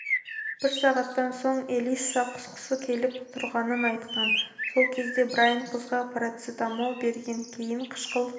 бір сағаттан соң элисса құсқысы келіп тұрғанын айтқан сол кезде брайн қызға парацетамол берген кейін қышқыл